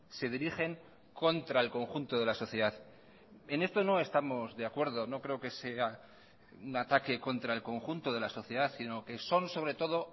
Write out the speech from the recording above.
se dirigen contra el conjunto de la sociedad en esto no estamos de acuerdo no creo que sea un ataque contra el conjunto de la sociedad sino que son sobre todo